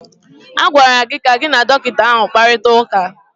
A gwara gị ka gị na dọkịta ahụ kparịta ụka!